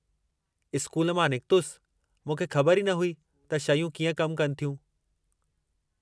School मां निकतलु, मूंखे ख़बरु ई न हुई त शयूं कीअं कमु कनि थियूं?